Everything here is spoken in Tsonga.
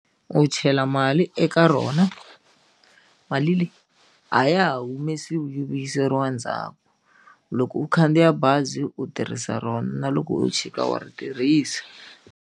U chela mali eka rona mali leyi a ya ha humesiwi yi vuyiseriwa ndzhaku loko u khandziya bazi u tirhisa rona loko u chika wa ri tirhisa.